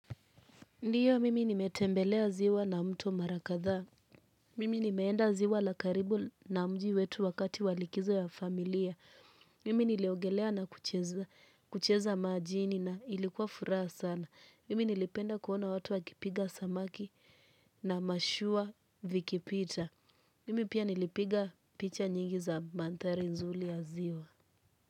Ndiyo mimi nimetembelea ziwa na mto mara kadhaa, mimi nimeenda ziwa la karibu na mji wetu wakati walikizo ya familia, mimi niliogelea na kuchezea kucheza majini na ilikuwa furaha sana, mimi nilipenda kuona watu wakipiga samaki na mashua vikipita, mimi pia nilipiga picha nyingi za mantari nzuli ya ziwa.